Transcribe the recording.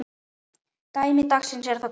Dæmi dagsins er þaðan komið.